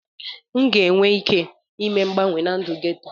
M ga-enwe ike ime mgbanwe na ndụ geto.